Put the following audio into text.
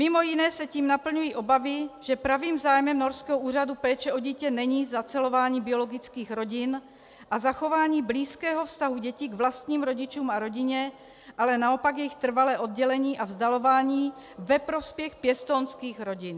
Mimo jiné se tím naplňují obavy, že pravým zájmem norského úřadu péče o dítě není zacelování biologických rodin a zachování blízkého vztahu dětí k vlastním rodičům a rodině, ale naopak jejich trvalé oddělení a vzdalování ve prospěch pěstounských rodin.